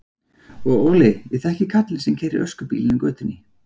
Og Óli, ég þekki kallinn sem keyrir öskubílinn í götunni.